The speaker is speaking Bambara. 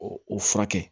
O o furakɛ